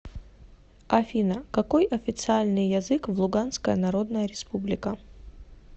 афина какой официальный язык в луганская народная республика